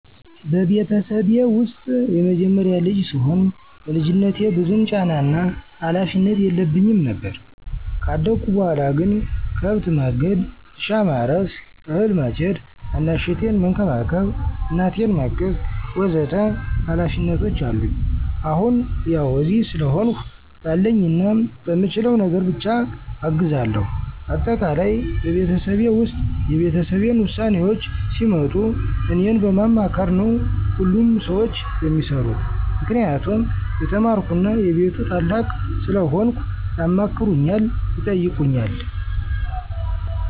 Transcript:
በቤተሰቤ ውስጥ የመጀመሪያ ልጅ ስሆን በልጅነቴ ብዙም ጫናና ሀላፊነት የለብኝም ነበር። ካደኩ በኋላ ግን ከብት ማገድ፣ እርሻ ማረስ፣ አህል ማጨድ፣ ታናሽ እህቴን መንከባከብ፣ እናቴን ማገዝ ወ.ዘ.ተ ሀላፊነቶች አሉኝ። አሁን ያው እዚህ ስለሆንሁ ባለኝና በምችለው ነገር ብቻ አግዛለሁ። አጠቃላይ በቤተሰቤ ውስጥ የቤተሰቤን ውሳኔዎች ሲመጡ እኔን በማማከር ነው ሁሉም ሰዎች የሚሰሩት። ምክንያቱም የተማርኩና የቤቱ ታላቅ ስለሆንኩ ያማክሩኛል፣ ይጠይቁኛል።